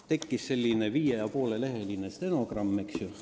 Tekkis selline viie ja poole lehekülje pikkune stenogramm.